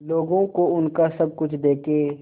लोगों को उनका सब कुछ देके